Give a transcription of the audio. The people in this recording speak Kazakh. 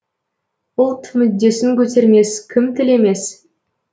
ұлт мүддесін көтермес кім тілемес